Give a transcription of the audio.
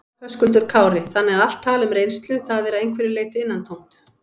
Höskuldur Kári: Þannig að allt tal um reynslu, það er að einhverju leyti innantómt?